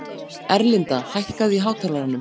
Erlinda, hækkaðu í hátalaranum.